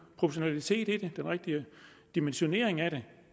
proportionalitet i det den rigtige dimensionering af det